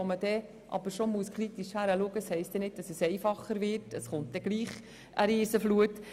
Damit wird es nämlich nicht einfacher, sondern es gibt trotzdem eine Riesenflut.